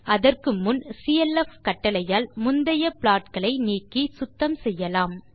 அதற்கு முன் சிஎல்எஃப் கட்டளையால் முந்தைய ப்ளாட் களை நீக்கி சுத்தம் செய்யலாம்